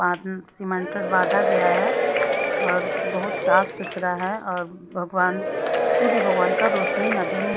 cemented बाँधा गया है और बहुत साफ सुथरा है और भगवान सूर्य भगवान का रोशनी नदी में --